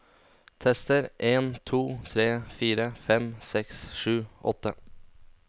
Tester en to tre fire fem seks sju åtte